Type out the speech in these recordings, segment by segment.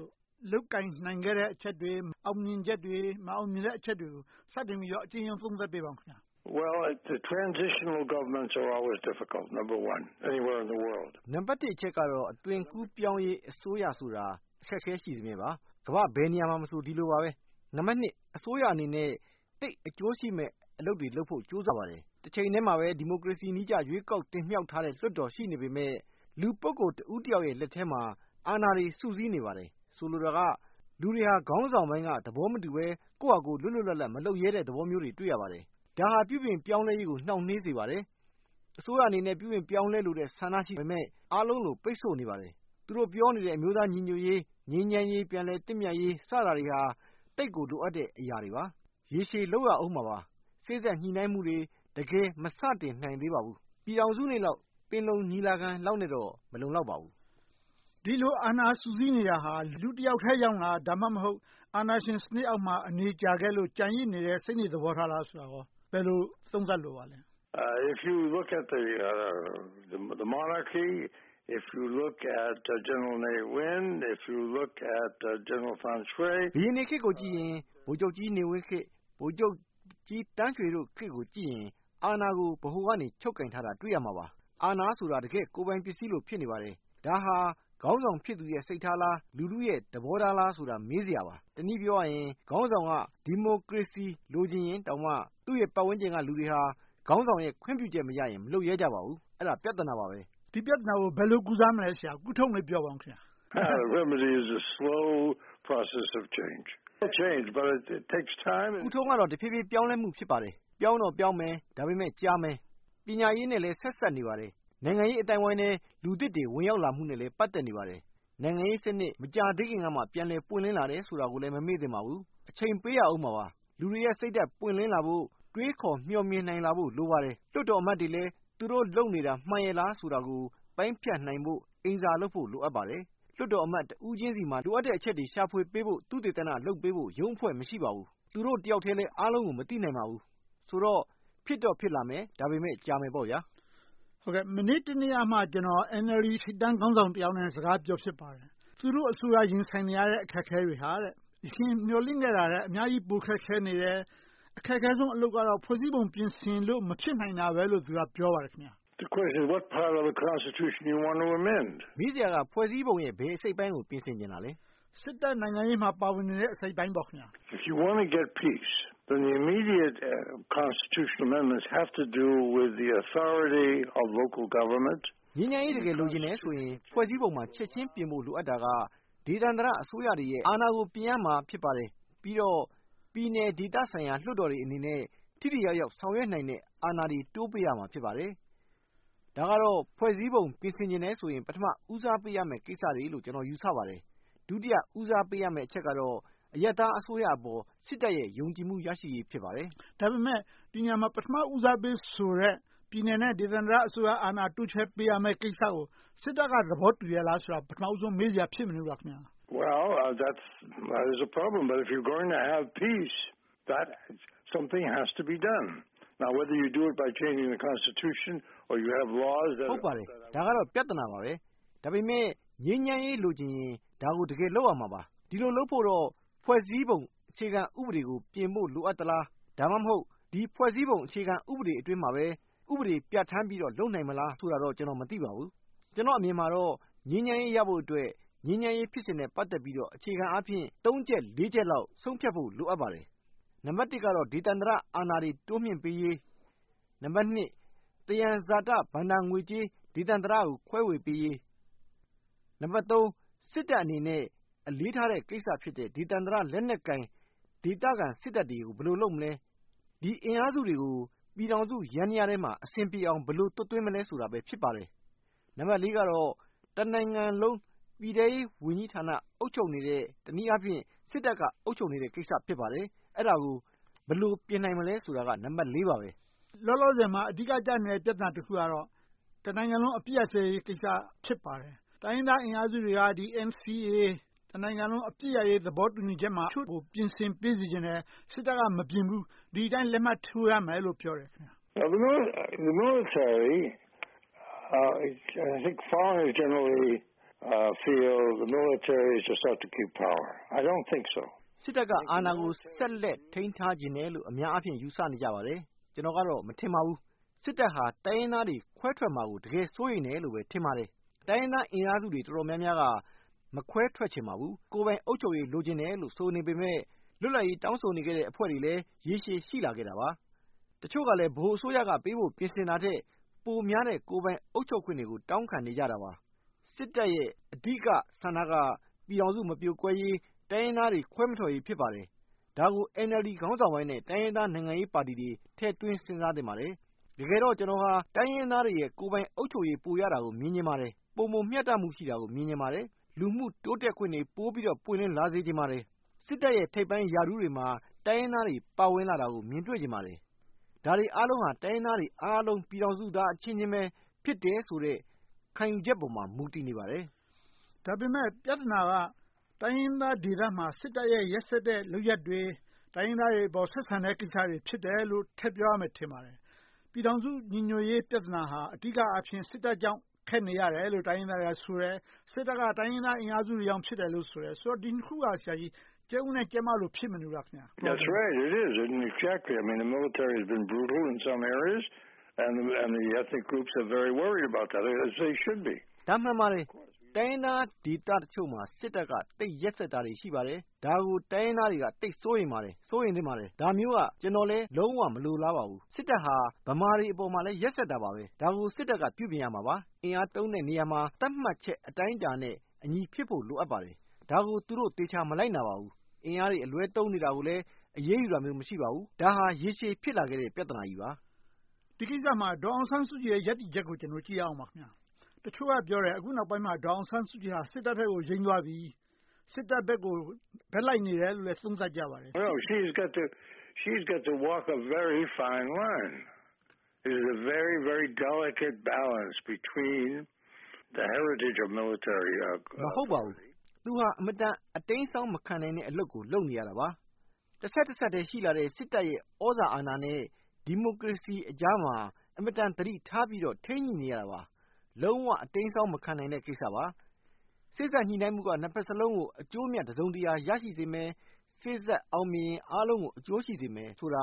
ို့ လုပ်ကိုင်နိုင်ခဲ့တဲ့ အချက်တွေ၊ အောင်မြင်ချက်တွေ၊ မအောင်မြင်တဲ့အချက်တွေကို စတင်ပြီးတော့ အကျဉ်းရုံးသုံးသပ်ပေးပါ။ နံပတ်တစ်အချက်ကတော့ အသွင်ကူးပြောင်းရေး အစိုးရဆိုတာ အခက်အခဲရှိစမြဲပါ။ ကမ္ဘာ့ဘယ်နေရာမဆို ဒီလိုပါပဲ။ နံပတ်နှစ် အစိုးရအနေနဲ့ သိပ်အကျိုးရှိမယ့် အလုပ်တွေလုပ်ဖို့ ကြိုးစားကြပါတယ်။ တချိန်တည်းမှာပဲ ဒီမိုကရေစီနည်းကျ ရွေးကောက်တင်မြှောက်ထားတဲ့ လွှတ်တော်ရှိနေပေမယ့် လူတဦးတယောက်လက်ထဲမှာ အာဏာတွေ စုစည်းနေပါတယ်။ ဆိုလိုတာက လူတွေဟာ ခေါင်းဆောင်ပိုင်းက သဘောမတူဘဲ၊ ကိုယ့်ဟာကိုယ် လွတ်လွတ်လပ်လပ် မလုပ်ရဲတဲ့ သဘောမျိုးတွေ တွေ့ရပါတယ်။ ဒါဟာ ပြုပြင်ပြောင်းလဲရေးကို နှောင့်နှေးစေပါတယ်။ အစိုးရအနေနဲ့ ပြုပြင်ပြောင်းလဲလိုတဲ့ ဆန္ဒရှိပေမယ့် အားလုံးလိုလို ပိတ်ဆို့နေပါတယ်။ သူတို့ပြောနေတဲ့ အမျိုးသားညီညွှတ်ရေး၊ ငြိမ်းချမ်းရေး၊ ပြန်လည်သင့်မြတ်ရေး စတာတွေဟာ သိပ်ကိုလိုအပ်တဲ့ အရာတွေပါ။ ရေရှည်လုပ်ရဦးမှာပါ။ စေ့စပ်ညှိနှိုင်းမှုတွေ တကယ် မစတင်နိုင်သေးပါဘူး။ ပြည်ထောင်စုလောက်၊ ပင်လုံညီလာခံလောက်နဲ့တော့ မလုံလောက်ပါဘူး။ ဒီလို အာဏာ စုစည်းနေတာ လူတယောက်ကြောင့်လား။ ဒါမှမဟုတ် အာဏာရှင်စနစ်အောက်မှာ အနေကြာခဲ့လို့ ကျန်ရစ်ဖြစ်နေတဲ့ စိတ်နေသဘောထားလားဆိုတာကို ဘယ်လို သုံးသပ်လိုပါလဲ။ ဘုရင်တွေခေတ်ကိုကြည့်ရင်၊ ဗိုလ်ချုပ်ကြီးနေဝင်းခေတ်၊ ဗိုလ်ချုပ်ကြီးသန်းရွှေတို့ခေတ်ကိုကြည့်ရင် အာဏာကို ဗဟိုကနေ ချုပ်ကိုင်ထားတာကို တွေ့ရမှာပါ။ အာဏာဆိုတာ တကယ့်ကိုယ်ပိုင်ပစ္စည်းလို ဖြစ်နေပါပြီ။ ဒါဟာ ခေါင်းဆောင်ဖြစ်သူရဲ့စိတ်ထားလား။ လူထုရဲ့သဘောထားလားဆိုတာ မေးစရာပါ။ တနည်းပြောရရင် ခေါင်းဆောင်က ဒီမိုကရေစီ လိုချင်ရင်တောင်မှ သူ့ပတ်ဝန်းကျင်က လူတွေက ခေါင်းဆောင်ရဲ့ ခွင့်ပြုချက်မရရင် မလုပ်ရဲကြပါဘူး။ ပြဿနာပါ။ ဒီပြဿနာကို ဘယ်လို ကုစားမလဲ။ ကုထုံးကိုလည်း ပြောပါအုံး။ ကုထုံးကလည်း တဖြည်းဖြည်းပြောင်းလဲမှု ဖြစ်ပါတယ်။ ပြောင်းတော့ပြောင်းမယ် ဒါပေမဲ့ ကြာမယ်။ ပညာရေးနဲ့လည်း ဆက်စပ်နေပါတယ်။ နိုင်ငံရေး အသိုင်းအဝိုင်းထဲ လူသစ်တွေ ဝင်ရောက်လာမှုနဲ့လည်း ပတ်သက်နေပါတယ်။ နိုင်ငံရေးစနစ် မကြာသေးခင်ကမှ ပြန်လည်ပွင့်လင်းလာတယ်ဆိုတာကိုလည်း မမေ့သင့်ပါဘူး။ အချိန်ပေးရဦးမှာပါ။ လူတွေရဲ့ စိတ်ဓါတ်ပွင့်လင်းလာဖို့ တွေးခေါ်မျှော်မြင်လာနိုင်ဖို့ လိုပါတယ်။ လွှတ်တော်အမတ်တွေလည်း သူတို့လုပ်နေတာ မှန်ရဲ ့လားဆိုတာကို ပိုင်းဖြတ်နိုင်ဖို့၊ အိမ်စာလုပ်ဖို့ လိုအပ်ပါတယ်။ လွှတ်တော်အမတ် တဦးချင်းဆီမှာ လိုအပ်တဲ့အချက်တွေ ရှာဖွေပေးဖို့ သုတေသနလုပ်ပေးဖို့ ရုံးအဖွဲ့ မရှိပါဘူး။ သူတို့တယောက်ထဲလည်း အားလုံးကို မသိနိုင်ပါဘူး။ ဆိုတော့ ဖြစ်တော့ဖြစ်လာမယ်။ ဒါပေမဲ့ ကြာမယ်။ မနေ့တနေ့ကမှ ကျနော် NLD ထိပ်တန်းခေါင်းဆောင်တယောက်နဲ့ စကားပြောဖြစ်ပါတယ်။ သူတို့အစိုးရ ရင်ဆိုင်နေရတဲ့ အခက်အခဲတွေဟာ အရင်မျှော်လင့်ခဲ့တာထက် အများကြီး ခက်ခဲနေတယ်။ အခက်အခဲဆုံးအလုပ်က ဖွဲ့စည်းပုံ ပြင်ဆင်ဖို့ မဖြစ်နိုင်တာဘဲလို့ ပြောပါတယ်။ မေးစရာက ဖွဲ့စည်းပုံရဲ့ ဘယ်အစိတ်အပိုင်းကို ပြင်ဆင်ချင်တာလဲ။ စစ်တပ်နိုင်ငံရေးမှာ ပါဝင်နေတဲ့ အစိတ်အပိုင်းပေါ့။ ငြိမ်းချမ်းရေး တကယ်လိုချင်တယ်ဆိုရင် ဖွဲ့စည်းပုံမှာ ချက်ချင်းပြင်ဖို့ လိုအပ်တာက ဒေသန္တရအစိုးရတွေရဲ့ အာဏာကို ပြင်ရမှာ ဖြစ်ပါတယ်။ ပြီးတော့ ပြည်နယ်ဒေသဆိုင်ရာ လွှတ်တော်တွေအနေနဲ့ ထိထိရောက်ရောက် ဆောင်ရွက်နိုင်တဲ့ အာဏာတွေ တိုးပေးရမှာ ဖြစ်ပါတယ်။ ဒါကတော့ ဖွဲ့စည်းပုံ ပြင်ဆင်ချင်တယ်ဆိုရင် ပထမ ဦးစားပေးရမယ့် ကိစ္စတွေလည်း ကျနော် ယူဆပါတယ်။ ဒုတိယဦးစားပေးရမယ့် အချက်ကတော့ အရပ်သားအစိုးရအပေါ် စစ်တပ်ရဲ့ ယုံကြည်ချက် ရရှိရေး ဖြစ်ပါတယ်။ ဒါပေမဲ့ ဒီနေရာမှာ ပထမဦးစားပေးဆိုတဲ့ ပြည်နယ်နဲ့ ဒေသန္တရအစိုးရ တိုးချဲ့ပေးရမယ့်ကိစ္စကို စစ်တပ်က သဘောတူရဲ့လားဆိုတာ ပထမဦးဆုံး မေးစရာ ဖြစ်မနေဘူးလား။ ဟုတ်ပါတယ်။ ဒါကတော့ ပြဿနာပါ။ ဒါပေမဲ့ ငြိမ်းချမ်းရေး လိုချင်ရင် ဒါကို တကယ်လုပ်ရမှာပါ။ ဒီလိုလုပ်ဖို့တော့ ဖွဲ့စည်းပုံ အခြေခံကို ပြင်ဖို့လိုအပ်သလား။ ဒါမှမဟုတ် ဒီဖွဲ့စည်းပုံ အခြေခံဥပဒေအတွင်းမှာပဲ ဥပဒေပြဌာန်းပြီးတော့ လုပ်နိုင်မလား ဆိုတာတော့ ကျနော် မသိပါဘူး။ ကျနော့်အမြင်မှာတော့ ငြိမ်းချမ်းရေးရဖို့အတွက် ငြိမ်းချမ်းရေးဖြစ်စဉ်နဲ့ ပတ်သက်ပြီးတော့ အခြေခံအားဖြင့် သုံးချက်လေးချက်လောက်တော့ ဆုံးဖြတ်ချက် လိုအပ်ပါတယ်။ နံပတ်တစ်ကတော့ ဒေသန္တရအာဏာတွေ တိုးမြှင့်ပေးရေး။ နံပတ်နှစ် သယံဇာတဘဏ္ဍာငွေကြေး ဒေသန္တရကို ခွဲဝေပေးရေး။ နံပတ်သုံး စစ်တပ်အနေနဲ့ အလေးထားတဲ့ကိစ္စဖြစ်တဲ့ ဒေသန္တရလက်နက်ကိုင် စစ်တပ်တွေကို ဘယ်လိုလုပ်မလဲ။ ဒီအင်အားစုတွေကို ပြည်ထောင်စုရဲ့ ယန္တရားထဲမှာ ဘယ်လိုအဆင်ပြေအောင် သွတ်သွင်းမလဲဆိုတာပဲ ဖြစ်ပါတယ်။ နံပတ်လေးကတော့ တနိုင်ငံလုံး ပြည်ထဲရေးဝန်ကြီးဌာန အုပ်ချုပ်နေတဲ့ တနည်းအားဖြင့် စစ်တပ်က အုပ်ချုပ်နေတဲ့ကိစ္စ ဖြစ်ပါတယ်။ အဲဒါကို ဘယ်လို ပြင်နိုင်မလဲဆိုတာက နံပတ်လေးပါ။ လောလောဆယ်မှာ အဓိကဖြစ်နေတဲ့ ပြဿနာတခုကတော့ တနိုင်ငံလုံး အပစ်ရပ်စဲရေးကိစ္စ ဖြစ်ပါတယ်။ တိုင်းရင်းသားအင်အားစုတွေက NCA တနိုင်ငံလုံးအပစ်ရပ်စဲရေး သဘောတူညီချက်ထဲမှာ တချို့ကို ပြင်ဆင်ပေးစေချင်တယ်။ စစ်တပ်က မပြင်ဘူး။ ဒီအတိုင်း လက်မှတ်ထိုးရမယ်လို့ ပြောတယ်။ စစ်တပ်က အာဏာကို ဆက်လက်ထိန်းထားချင်တယ်လို့ အများအားဖြင့် ယူဆနေကြပါတယ်။ ကျနော်ကတော့ မထင်ပါဘူး။ စစ်တပ်က တိုင်းရင်းသားတွေ ခွဲထွက်မှာကို တကယ် စိုးရိမ်တယ်လို့ပဲ ထင်ပါတယ်။ တိုင်းရင်းသားအင်အားစုတွေ တော်တော်များများက မခွဲထွက်ချင်ပါဘူး။ ကိုယ်ပိုင်အုပ်ချုပ်ရေး လိုချင်တယ်လို့ ဆိုနေပေမယ့် လွတ်လပ်ရေး တောင်းဆိုနေတဲ့ အဖွဲ့တွေလည်း ရေရှည်ရှိနေခဲ့တာပါ။ တချို့ကလည်း ဗဟိုအစိုးရကပေးဖို့ ပြင်ဆင်တာထက် ပိုများတဲ့ ကိုယ်ပိုင်အုပ်ချုပ်ခွင့်တွေကို တောင်းခံနေကြတာပါ။ စစ်တပ်ရဲ့ အဓိကဆန္ဒက ပြည်ထောင်စု မပြိုကွဲရေး၊ တိုင်းရင်းသားတွေ ခွဲမထွက်ရေး ဖြစ်ပါတယ်။ ဒါကို NLD ခေါင်းဆောင်ပိုင်းနဲ့ တိုင်းရင်းသားနိုင်ငံရေးပါတီတွေ ထည့်သွင်းစဉ်းစားသင့်ပါတယ်။ တကယ်တော့ ကျနော်ဟာ တိုင်းရင်းသားတွေရဲ့ ကိုယ်ပိုင်အုပ်ချုပ်ရေး ပိုရတာကို မြင်ချင်ပါတယ်။ ပိုမိုမျှတခွင့်တွေရှိတာကို မြင်ချင်ပါတယ်။ လူမှုတိုးတက်ခွင့်တွေ ပိုပြီးတော့ ပွင့်လင်းလာစေချင်ပါတယ်။ စစ်တပ်ရဲ့ ထိပ်ပိုင်းရာထူးတွေမှာ တိုင်းရင်းသားတွေ ပါဝင်လာတာကို မြင်တွေ့စေချင်ပါတယ်။ ဒါတွေအားလုံးဟာ တိုင်းရင်းသားတွေအားလုံး ပြည်ထောင်စုသားအချင်းချင်းပဲ ဖြစ်တယ်ဆိုတဲ့ ခံယူချက်ပေါ်မှာ မူတည်နေပါတယ်။ ဒါပေမဲ့ ပြဿနာက တိုင်းရင်းသားဒေသမှာ စစ်တပ်ရဲ့ ရက်စက်တဲ့လုပ်ရပ်တွေ၊ တိုင်းရင်းသားတွေအပေါ် ဆက်ဆံတဲ့ကိစ္စတွေ ဖြစ်တယ်လို့ ထည့်ပြောရမယ် ထင်ပါတယ်။ ပြည်ထောင်စု ညီညွှတ်ရေးပြဿနာဟာ အဓိကအားဖြင့် စစ်တပ်ကြောင့် ခက်နေရတယ်လို့ တိုင်းရင်းသားတွေကဆိုတယ်။ စစ်တပ်က တိုင်းရင်းသားအင်အားစုတွေကြောင့် ဖြစ်တယ်လို့ဆိုတယ်။ ဒီနှစ်ခုက ကြက်ဥနဲ့ကြက်မ ဖြစ်မနေဘူးလား။ ဒါမှန်ပါတယ်။ တိုင်းရင်းသားဒေသတချို့မှာ စစ်တပ်က သိပ်ရက်စက်တာတွေ ရှိပါတယ်။ ဒါကို တိုင်းရင်းသားတွေက သိပ်စိုးရိမ်ပါတယ်။ စိုးရိမ်သင့်ပါတယ်။ ဒါမျိုးက ကျနော်လည်း လုံးဝမလိုလားပါဘူး။ စစ်တပ်ဟာ ဗမာတွေအပေါ်မှာလည်း ရက်စက်တာပါပဲ။ ဒါကို စစ်တပ်က ပြုပြင်ရမှာပါ။ အင်အားသုံးတဲ့နေရာမှာ သတ်မှတ်ချက် အတိုင်းအတာနဲ့အညီ ဖြစ်ဖို့ လိုအပ်ပါတယ်။ ဒါကို သူတို့သေချာ မလိုက်နာပါဘူး။ အင်အားတွေ အလွဲသုံးနေတာကိုလည်း အရေးယူတာမျိုး မရှိပါဘူး။ ဒါဟာ ရေရှည်ဖြစ်လာခဲ့တဲ့ ပြဿနာကြီးပါ။ ဒီကိစ္စမှာ ဒေါ်အောင်ဆန်းစုကြည်ရဲ့ ရပ်တည်ချက်ကို ကြည့်ရအောင်ပါ။ တချို့ကပြောတယ် အခုနောက်ပိုင်းမှာ ဒေါ်အောင်ဆန်းစုကြည်က စစ်တပ်ဘက်ကို ယိမ်းသွားပြီ။ စစ်တပ်ဘက်ကို ဘက်လိုက်နေတယ်လို့လည်း သုံးသပ်ကြပါတယ်။ မဟုတ်ပါဘူး။ သူဟာ အင်မတန် အတိမ်းအစောင်းမခံနိုင်တဲ့ အလုပ်ကို လုပ်နေရတာပါ။ တဆက်တည်းရှိလာတဲ့ စစ်တပ်ရဲ့ သြဇာအာဏာနဲ့ ဒီမိုကရေစီအကြားမှာ အင်မတန် သတိထားပြီးတော့ ထိန်းညှိနေရတာပါ။ လုံးဝအတိမ်းအစောင်း မခံနိုင်တာကိစ္စပါ။ စေ့စပ်ညှိနှိုင်းမှုက နှစ်ဘက်စလုံးကို အကျိုးအမြတ် တစုံတရာ ရှိစေမယ်။ စေ့စပ်အောင်မြင်ရင် အားလုံးကို အကျိုးရှိစေမယ်ဆိုတာ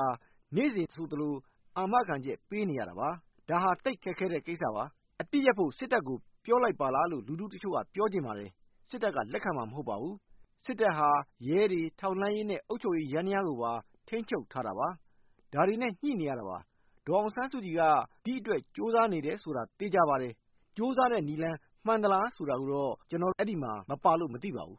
နေ့စဉ်ဆိုသလို အာမခံချက် ပေးနေရတာပါ။ ဒါဟာ သိပ်ခက်ခဲတဲ့ကိစ္စပါ။ အပစ်ရပ်ဖို့ စစ်တပ်ကို ပြောလိုက်ပါလားလို့ လူထုတချို့က ပြောချင်ပါတယ်။ စစ်တပ်က လက်ခံမှာ မဟုတ်ပါဘူး။ စစ်တပ်ဟာ ရဲတွေ၊ ထောက်လှမ်းရေးနဲ့ အုပ်ချုပ်ရေးယန္တရားကိုပါ ထိန်းချုပ်ထားတာပါ။ ဒါတွေနဲ့ ညှိနေရတာပါ။ ဒေါ်အောင်ဆန်းစုကြည်က ဒီအတွက် ကြိုးစားနေတယ်ဆိုတာ သေချာပါတယ်။ ကြိုးစားတဲ့နည်းလမ်း မှန်သလားဆိုတာကိုတော့ ကျနော် အဲဒီမှာမပါလို့ မသိပါဘူး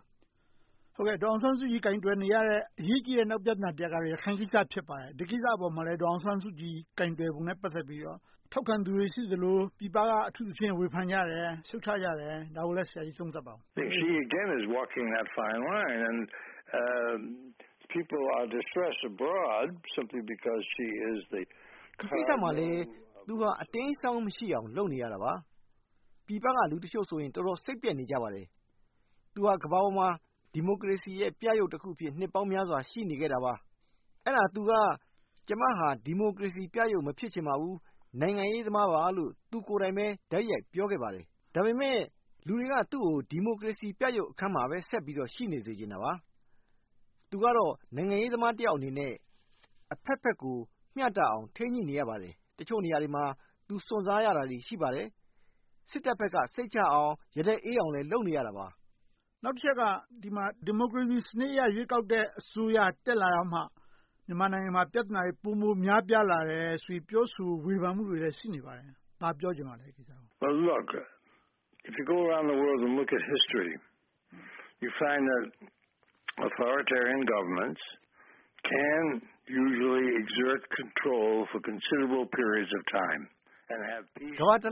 ။ ဒေါ်အောင်ဆန်းစုကြည် ကိုင်တွယ်နေရတဲ့ အရေးကြီတဲ့ နောက်ပြဿနာတရပ်ကတော့ ရခိုင်ကိစ္စ ဖြစ်ပါတယ်။ ဒီကိစ္စအပေါ်မှာလည်း ဒေါ်အောင်ဆန်းစုကြည် ကိုင်တွယ်ပုံနဲ့ ပတ်သက်ပြီးတော့ ထောက်ခံသူတွေ ရှိသလို၊ ပြည်ပက အထူးသဖြင့် ဝေဖန်ကြတယ်။ ရှုတ်ချကြတယ်။ ဒါကိုလဲ ဆရာကြီး သုံးသပ်ပါအုံး။ ဒီကိစ္စမှာလည်း သူဟာ အတိမ်းအစောင်းမရှိအောင် လုပ်နေရတာပါ။ ပြည်ပက လူတချို့ဆိုရင် တော်တော်စိတ်ပျက်နေကြပါတယ်။ သူဟာ ကမ္ဘာပေါ်မှာ ဒီမိုကရေစီရဲ့ ပြယုဂ်တခုအဖြစ် နှစ်ပေါင်းများစွာ ရှိနေခဲ့တာပါ။ အဲဒါ သူက ကျမဟာ ဒီမိုကရေစီပြယုဂ် မဖြစ်ချင်ပါဘူး။ နိုင်ငံရေးသမားပါပဲလို့ သူကိုယ်တိုင်းပဲ တိုက်ရိုက်ပြောခဲ့ပါတယ်။ သူတို့ ဒီမိုကရေစီပြယုဂ်အခန်းမှာပဲ ဆက်ပြီးရှိစေချင်တာပါ။ သူကတော့ နိုင်ငံရေးသမားတယောက်အနေနဲ့ အဘက်ဘက်ကို မျှတအောင် ထိန်းညှိနေရပါတယ်။ တချို့နေရာတွေမှာ သူစွန့်စားရတာတွေ ရှိပါတယ်။ စစ်တပ်ဘက်က စိတ်ချရအောင် ရတက်အေးအောင်လည်း လုပ်နေရတာပါ။ နောက်တချက်က ဒီမိုကရေစီစနစ်အရ ရွေးကောက်တဲ့ အစိုးရ တက်လာမှ မြန်မာနိုင်ငံမှာ ပြဿနာတွေ ပိုမိုများပြားလာတယ်ဆိုပြီး ပြောဆိုဝေဖန်မှုတွေလည်း ရှိနေပါတယ်။ ဒီကိစ္စကို ဘာပြောချင်ပါလဲ။ ကမ္ဘာတလ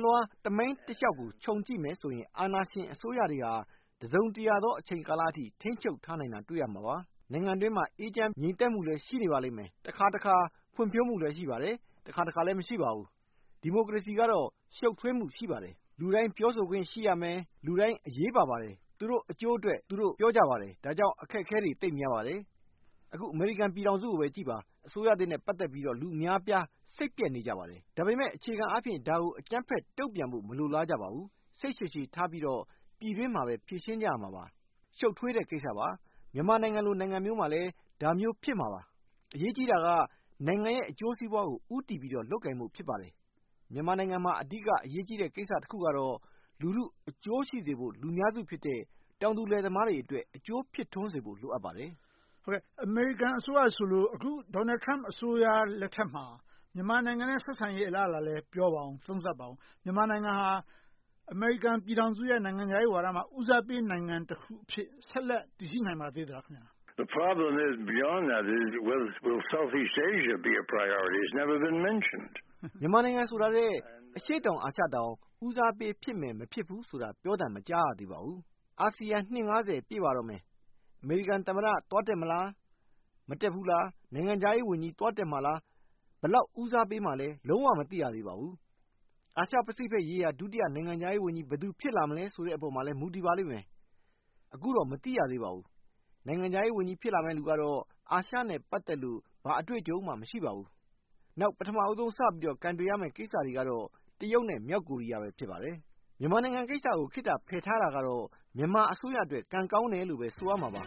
ွှား သမိုင်းတလျှောက်ကို ခြုံု ကြည့်မယ်ဆိုရင် အာဏာရှင်အစိုးရတွေဟာ တစုံတရာသော အချိန်ကာလအထိ ထိန်းချုပ်ထားနိုင်တာကို တွေ့ရမှာပါ။ နိုင်ငံအတွင်းမှာ အေးချမ်းငြိမ်သက်မှုလည်း ရှိနေပါလိမ့်မယ်။ တခါတခါ ဖွံ့ဖြိုးမှုလည်း ရှိပါလိမ့်မယ်။ တခါတခါလည်း မရှိပါဘူး။ ဒီမိုကရေစီကတော့ ရှုပ်ထွေးမှု ရှိပါတယ်။ လူတိုင်းပြောဆိုခွင့် ရှိရမယ်။ လူတိုင်း အရေးပါပါတယ်။ သူတို့အကျိုးအတွက် သူတို့ ပြောကြပါတယ်။ ဒါကြောင့် အခက်အခဲတွေ သိပ်များပါတယ်။ အခု အမေရိကန်ပြည်ထောင်စုကိုပဲ ကြည့်ပါ။ အစိုးရသစ်နဲ့ ပတ်သက်ပြီးတော့ လူအများအပြား စိတ်ပျက်နေကြပါတယ်။ ဒါပေမဲ့ အခြေခံအားဖြင့် ဒါကို အကြမ်းဖက်တုံ့ပြန်ဖို့ မလိုလားကြပါဘူး။ စိတ်ရှည်ရှည်ထားပြီးတော့ ပြည်တွင်းမှာပဲ ဖြေရှင်းကြရမှာပါ။ ရှုပ်ထွေးတဲ့ကိစ္စပါ။ မြန်မာနိုင်ငံလို နိုင်ငံမျိုးမှာလည်း ဒါမျိုး ဖြစ်မှာပါ။ အရေးကြီးတာက နိုင်ငံရဲ့ အကျိုးစီးပွားကို ဦးတည်ပြီးတော့ လုပ်ကိုင်ဖို့ ဖြစ်ပါတယ်။ မြန်မာနိုင်ငံမှာ အဓိက အရေးကြီးတဲ့ ကိစ္စတခုကတော့ လူထုအကျိုးရှိစေဖို့ လူအများစုဖြစ်တဲ့ တောင်သူလယ်သမားတွေ အကျိုးဖြစ်ထွန်းစေဖို့ လိုအပ်ပါတယ်။ အမေရိကန်အစိုးရဆိုလို့ အခု Donald Trump အစိုးရလက်ထက်မှာ မြန်မာနိုင်ငံနဲ့ ဆက်ဆံရေးကိစ္စလည်း ပြောပါအုံး။ သုံးသပ်ပါအုံး။ မြန်မာနိုင်ငံဟာ အမေရိကန်ပြည်ထောင်စုရဲ့ နိုင်ငံခြားရေးမူဝါဒမှာ ဦးစားပေး နိုင်ငံတခုအဖြစ် ဆက်လက်တည်ရှိနိုင်ပါသေးလား။ မြန်မာနိုင်ငံဆိုတာထက် အရှေ့တောင်အာရှတောင် ဦးစားပေးဖြစ်မယ် မဖြစ်ဘူးဆိုတာ ပြောသံမကြားရသေးပါဘူး။ အာဆီယံ နှစ် ပြည့်ပါတော့မယ်။ အမေရိကန်သမ္မတ သွားတက်မလား။ မတက်ဘူးလား။ နိုင်ငံခြားရေးဝန်ကြီး သွားတက်မလား။ ဘယ်လောက် ဦးစားပေးမှာလဲ။ လုံးဝမသိရသေးပါဘူး။ အာရှပစိဖိတ် ဒုတိယနိုင်ငံခြားရေးဝန်ကြီး ဘယ်သူဖြစ်လာမလဲပေါ်မှာလဲ မူတည်ပါလိမ့်မယ်။ အခုတော့ မသိရသေးပါဘူး။ နိုင်ငံခြားရေး ဖြစ်လာမယ့်လူကတော့ အာရှနဲ့ ပတ်သက်လို့ ဘာအတွေ့အကြုံမှ မရှိပါဘူး။ နောက် ပထမဦးဆုံး စပြီးတော့ ကိုင်တွယ်ရမယ့် ကိစ္စတွေကတော့တရုတ်နဲ့ မြောက်ကိုရီးယား ဖြစ်ပါတယ်။ မြန်မာနိုင်ငံကိစ္စကို ခေတ္တဖယ်ထားတာကတော့ မြန်မာအစိုးရအတွက် ကံကောင်းတယ်လို့ပဲ ဆိုရမှာပါ